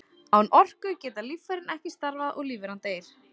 Án orku geta líffærin ekki starfað og lífveran deyr.